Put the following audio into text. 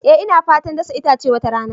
Eh ina fatar dasa itace wata rana.